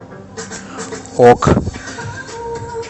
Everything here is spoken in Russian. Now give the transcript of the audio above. ок